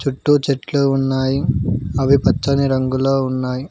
చుట్టూ చెట్లు ఉన్నాయి అవి పచ్చని రంగులో ఉన్నాయి.